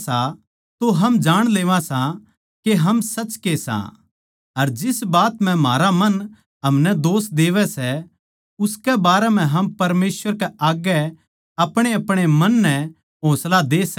उसका हुकम यो सै के हम उसकै बेट्टे यीशु मसीह पै बिश्वास करा अर जिसा उसनै म्हारै ताहीं हुकम दिया सै उस्से कै मुताबिक हम आप्पस म्ह प्यार करां